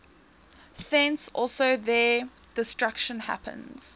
thence also their destruction happens